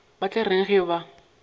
ba tla reng ge ba